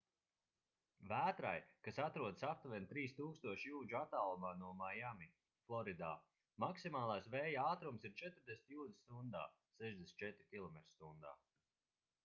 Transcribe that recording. vētrai kas atrodas aptuveni 3000 jūdžu attālumā no maiami floridā maksimālais vēja ātrums ir 40 jūdzes stundā 64 km/h